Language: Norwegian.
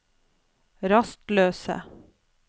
rastløse